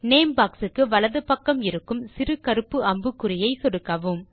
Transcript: name box க்கு வலது பக்கம் இருக்கும் சிறு கருப்பு அம்புக்குறியை சொடுக்கவும்